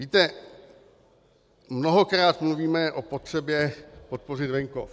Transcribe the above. Víte, mnohokrát mluvíme o potřebě podpořit venkov.